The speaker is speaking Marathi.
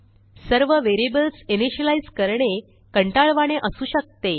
सर्व व्हेरिएबल्स इनिशियलाईज करणे कंटाळवाणे असू शकते